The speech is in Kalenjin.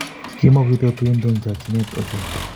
Kimukoite tuinto eng chokchinee ohei.